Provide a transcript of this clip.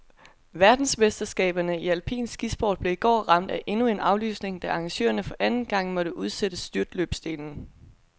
Verdensmesterskaberne i alpin skisport blev i går ramt af endnu en aflysning, da arrangørerne for anden gang måtte udsætte styrtløbsdelen.